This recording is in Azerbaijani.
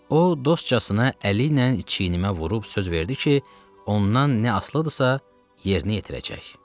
O dostcasına əli ilə çiynimə vurub söz verdi ki, ondan nə asılıdırsa, yerinə yetirəcək.